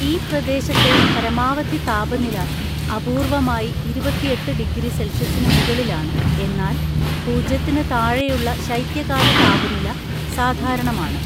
ഈ പ്രദേശത്തെ പരമാവധി താപനില അപൂർവ്വമായി ഇരുപത്തെട്ടു ഡിഗ്രി സെൽഷ്യസിനു മുകളിലാണ്, എന്നാൽ പൂജ്യത്തിന് താഴെയുള്ള ശൈത്യകാല താപനില സാധാരണമാണ്.